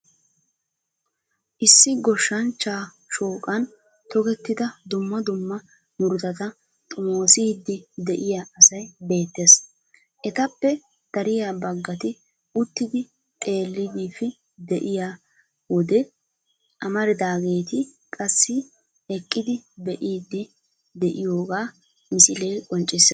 Issi goshshanchchaa shooqan tokettida dumma dumma murutata xomoosiiddi de'iya asay beettees. Etappe dariya baggati uttidi xeelliidfi de'iyo wode amaridaageeti qassi eqqidi be'iiddi de'iyogaa misilee qonccissees